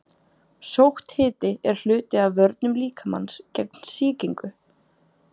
Sótthiti er hluti af vörnum líkamans gegn sýkingu.